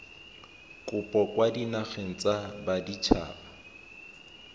kopo kwa dinageng tsa baditshaba